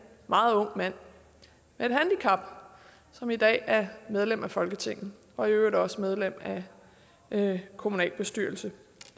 meget ung mand med et handicap som i dag er medlem af folketinget og i øvrigt også medlem af kommunalbestyrelsen